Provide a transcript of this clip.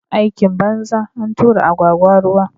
Aikin banza, antura agwagwa ruwa